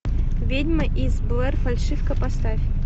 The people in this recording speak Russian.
ведьма из блэр фальшивка поставь